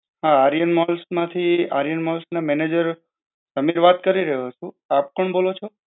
હાં આર્યન malls માંથી Aryan malls નો manager અમિત વાત કરી રહ્યો છું. આપ કોણ બોલો છો?